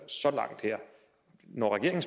så langt her når regeringen